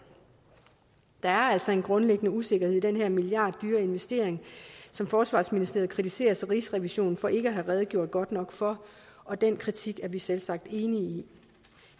der er altså en grundlæggende usikkerhed i den her milliarddyre investering som forsvarsministeriet kritiseres af rigsrevisionen for ikke at have redegjort godt nok for og den kritik er vi selvsagt enige